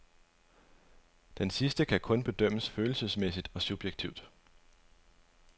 Denne sidste kan kun bedømmes følelsesmæssigt og subjektivt.